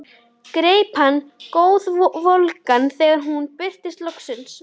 Greip hana glóðvolga þegar hún birtist loksins.